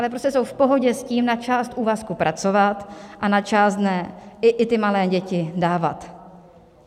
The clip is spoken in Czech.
Ale prostě jsou v pohodě s tím, na část úvazku pracovat a na část dne i ty malé děti dávat.